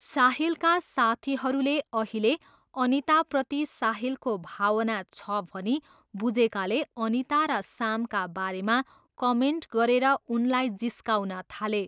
साहिलका साथीहरूले अहिले अनिताप्रति साहिलको भावना छ भनी बुझेकाले अनिता र सामका बारेमा कमेन्ट गरेर उनलाई जिस्काउन थाले।